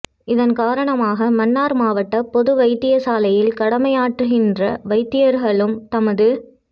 இதன் காரணமாக மன்னார் மாவட்ட பொது வைத்தியசாலையில் கடமையாற்றுகின்ற வைத்தியர்களும்இ தமது